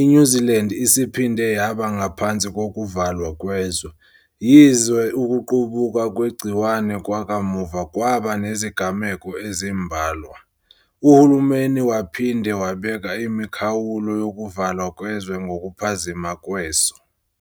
i-New Zealand isiphinde yaba ngaphansi kokuvalwa kwezwe. Yize ukuqubuka kwegciwane kwakamuva kwaba nezigameko ezimbalwa, uhulumeni waphinde wabeka imikhawulo yokuvalwa kwezwe ngokuphazima kweso.